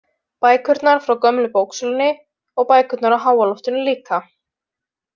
Bækurnar frá gömlu bóksölunni og bækurnar á háaloftinu líka.